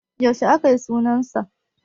Yaushe akayi sunan sa?